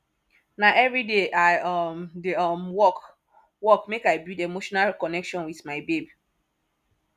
na everyday i um dey um work work make i build emotional connection wit my babe